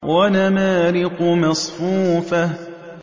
وَنَمَارِقُ مَصْفُوفَةٌ